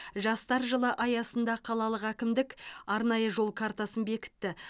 жастар жылы аясында қалалық әкімдік арнайы жол картасын бекітті